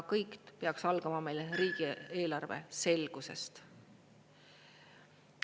Kõik peaks algama meile riigieelarve selgusest.